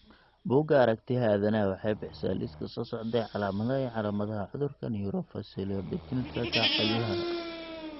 Bugga Aragtiyaha Aanadanaha waxay bixisaa liiska soo socda ee calaamadaha iyo calaamadaha cudurka Neurofaciodigitorenalka ciladaha.